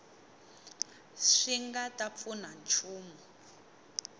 swi nga ta pfuna nchumu